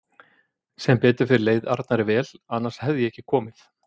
Sem betur fer leið Arnari vel annars hefði ég ekki komið